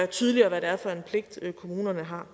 tydeligere hvad det er for en pligt kommunerne har